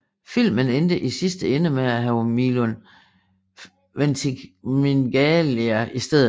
Filmen endte i sidste ende med at have Milo Ventimiglia i stedet for